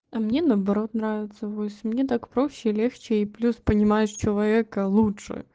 а мне наоборот нравится вальс мне так проще и легче и плюс понимаешь человека лучше